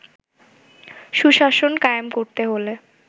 সুশাসন কায়েম করতে হলে